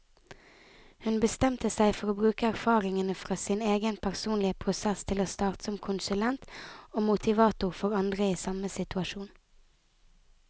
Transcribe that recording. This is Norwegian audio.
Hun bestemte seg for å bruke erfaringene fra sin egen personlige prosess til å starte som konsulent og motivator for andre i samme situasjon.